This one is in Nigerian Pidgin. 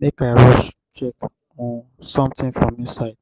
make we read for shool be dis? e dey interesting?